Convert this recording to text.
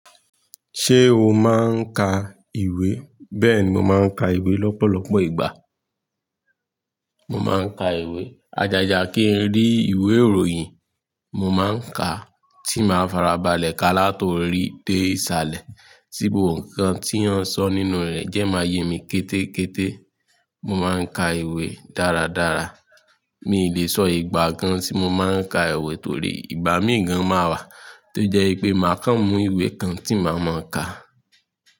Ṣé o máa ń ka ìwé? Bẹ́ẹ̀ni, mo máa ń ka ìwé lọ́pọ̀lọpọ̀ ìgbà. Mo máa ń ka ìwé ajàjà kí n rí ìwé ìròyìn. Mo máa ń ka tí máa farabalẹ̀ ka látòrí té ìsàlẹ̀ tí gbogbo nǹkan tí wọ́n sọ nínú rẹ̀ jẹ máa yé mi kétékété. Mo máa ń ka ìwé dáradára. Mi lè sọ ìgbà kan tí mo máa ń ka ìwé torí ìgbà míì gan máa wà tó jẹ́ pé màá kan mú ìwé kan tí màá máa ka.